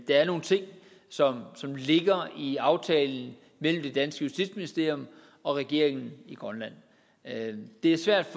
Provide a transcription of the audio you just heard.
er nogle ting som ligger i aftalen mellem det danske justitsministerium og regeringen i grønland det er svært